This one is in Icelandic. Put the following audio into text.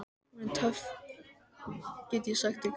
Hún er töff, get ég sagt ykkur.